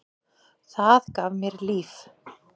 Það gaf mér líf.